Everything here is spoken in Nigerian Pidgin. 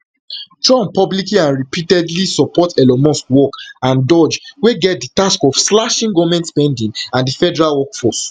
trump publicly and repeatedly support elon musk work and doge wey get di task of slashing goment spending and di federal workforce